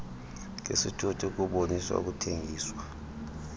ngesithuthi ukuboniswa ukuthengiswa